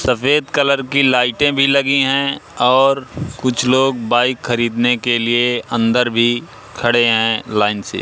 सफेद कलर की लाइटें भी लगी हैं और कुछ लोग बाइक खरीदने के लिए अंदर भी खड़े हैं लाइन से।